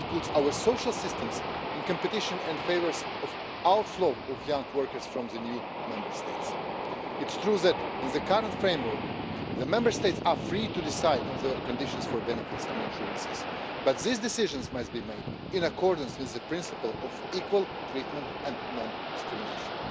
It puts our social systems in competition and favours the outflow of young workers from the new Member States. It's true that in the current framework, the Member States are free to decide on the conditions for benefits and insurance, but these decisions must be made in accordance with the principle of equal treatment and non discrimination.